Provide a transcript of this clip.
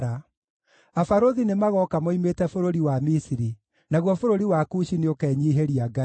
Abarũthi nĩmagooka moimĩte bũrũri wa Misiri; naguo bũrũri wa Kushi nĩũkenyiihĩria Ngai.